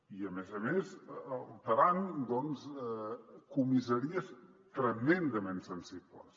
i a més a més alterant doncs comissaries tremendament sensibles